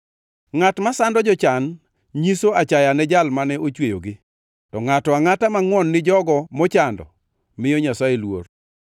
Ngʼat masando jochan nyiso achaya ne Jal mane ochweyogi, to ngʼato angʼata mangʼwon ni jogo mochando miyo Nyasaye luor.